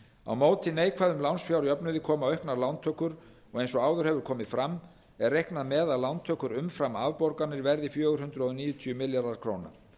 á móti neikvæðum lánsfjárjöfnuði koma auknar lántökur og eins og áður hefur komið fram er reiknað með að lántökur umfram afborganir verði fjögur hundruð níutíu milljarðar króna